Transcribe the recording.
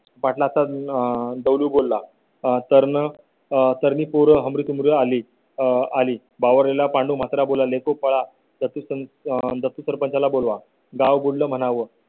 पाटलांचा दगडू बोला आह तरुण तरुणी पोरं हमरीतुमरीवर आली आली बावरालेला पांडू मात्र बोलला येथून पळा सरपंचाला बोलवा गाव बोल म्हणावं